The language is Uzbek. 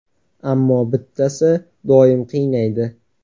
Ammo bittasi doim qiynaydi.